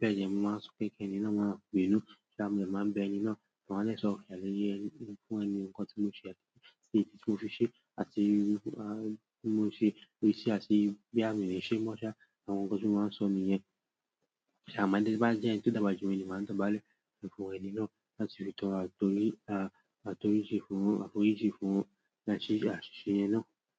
bẹ́ẹ̀ dẹ, mo máa ń sọ pé kí ẹni náà máa bínú, kí a mo dè máa bẹ ẹni náà, ma a dè sọ ọ̀ro àlaye fún ẹni nǹkan tí mo ṣe, èyí tí mo fi ṣe àti ohun tí mo ṣe, boya mi nì ṣe mọ́ ṣá, àwọn nǹkan tí mo máa sọ ni yẹn. Ṣà ma dede, bá n jẹ ẹni tí o dàgbàá jù mí, mo de máa dobàálẹ̀ fún ẹni náà láti fi tọrọ àforíjì fún àṣìṣe náà.